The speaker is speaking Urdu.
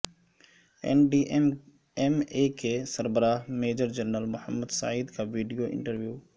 این ڈی ایم اے کے سربراہ میجر جنرل محمد سعید کا ویڈیو انٹرویو